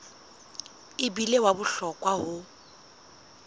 e bile wa bohlokwa ho